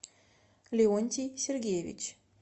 леонтий сергеевич